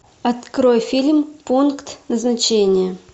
открой фильм пункт назначения